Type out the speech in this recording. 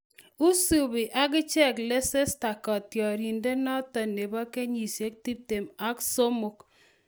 Isubi akichek Leicester kotioriendenoto nebo kenyisiek tiptem ak somok